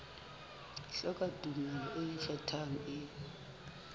hloka tumello e ikgethang e